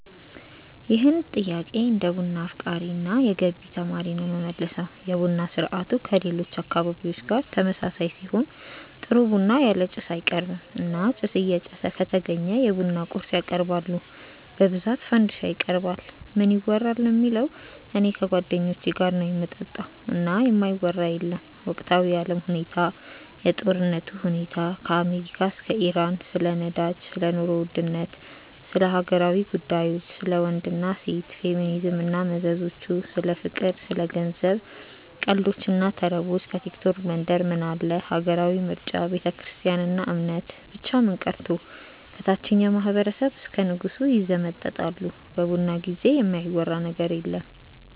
ይህን ጥያቄ እንደ ቡና አፍቃሪ እና የገቢ ተማሪ ነው የምመልሰው። የቡና ስርአቱ ከሌሎች አካባቢዎች ጋር ተመሳሳይ ሲሆን ጥሩ ቡና ያለ ጭስ አይቀርብም እና ጭስ እየጨሰ ከተገኘ የቡና ቁርስ ያቀርባሉ በብዛት ፈንዲሻ ይቀርባል። ምን ይወራል ለሚለው እኔ ከጓደኞቼ ጋር ነው ምጠጣው እና የማይወራ የለም ወቅታዊ የአለም ሁኔታ፣ የጦርነቱ ሁኔታ ከአሜሪካ እስከ ኢራን፣ ስለ ነዳጅ፣ ስለ ኑሮ ውድነት፣ ስለ ሀገራዊ ጉዳዮች፣ ስለ ወንድ እና ሴት፣ ፌሚኒዝም እና መዘዞቹ፣ ስለ ፍቅር፣ ስለ ገንዘብ፣ ቀልዶች እና ተረቦች፣ ከቲክቶክ መንደር ምን አለ፣ ሀገራዊ ምርጫ፣ ቤተክርስትያን እና እምነት፣ ብቻ ምን ቀርቶ ከታቸኛው ማህበረሰብ እስከ ንጉሱ ይዘመጠጣሉ በቡና ጊዜ የማይወራ ነገር የለም።